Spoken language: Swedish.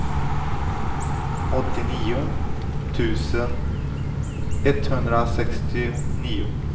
åttionio tusen etthundrasextionio